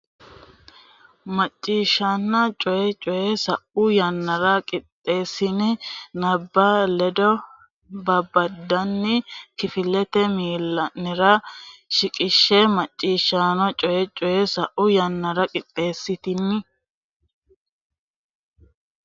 Macciishshanna Coyi Coyi Sa u yannara qixxeessitini hibbo bado badotenni kifilete miilla nera shiqishshe Macciishshanna Coyi Coyi Sa u yannara qixxeessitini.